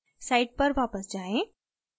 site पर वापस जाएँ